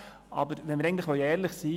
Aber wenn wir ehrlich sein wollen: